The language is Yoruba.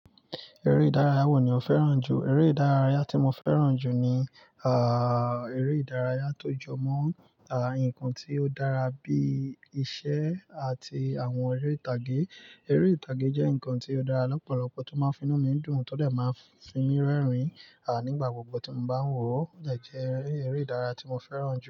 Eré ìdárayá wo ni o fẹ́ràn jù? Eré ìdárayá tí mo fẹ́ràn jù ni, ah, eré ìdárayá tó jọ mọ́, ah, nǹkan tí ó dára bí iṣẹ́ àti àwọn eré ìtàgé. Eré ìtàgé jẹ́ nǹkan tí ó dára lọ́pọ̀lọpọ̀ tó máa ń fi inú mi dùn, tó dàì máa ń fi mí rẹ́rìn-ín, ah, nígbà gbogbo tí mo bá ń wò ó. Ọ̀jà jẹ́ eré ìdárayá tí mo fẹ́ràn jù.